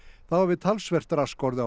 þá hafi talsvert rask orðið á